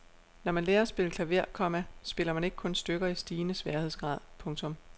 Når man lærer at spille klaver, komma spiller man ikke kun stykker i stigende sværhedsgrad. punktum